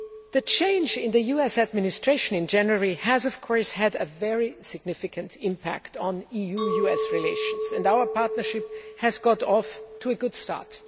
The change in the US Administration in January has had a very significant impact on EU US relations, and our partnership has got off to a good start.